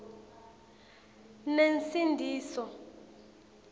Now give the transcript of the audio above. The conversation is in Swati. nensindiso